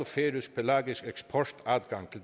færøsk pelagisk eksport adgang